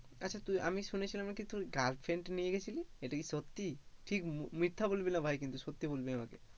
আচ্ছা তুই আমি শুনেছিলাম নাকি তুই girlfriend নিয়ে গেছিলি, এটা কি সত্যি ঠিক মিথ্যা বলবি না ভাই কিন্তু সত্যি বলবি আমাকে,